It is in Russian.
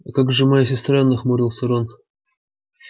а как же моя сестра нахмурился рон